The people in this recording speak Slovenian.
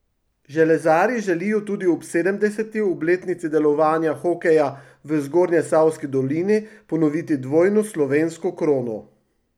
Železarji želijo tudi ob sedemdeseti obletnici delovanja hokeja v Zgornjesavski dolini ponoviti dvojno slovensko krono.